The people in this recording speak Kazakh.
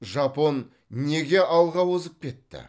жапон неге алға озып кетті